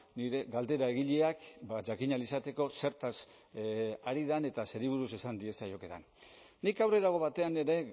nire galdera egileak jakin ahal izateko zertaz ari den eta zeri buruz esan diezaiokedan nik aurrerago batean ere